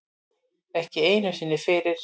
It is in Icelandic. Ekki einu sinni fyrir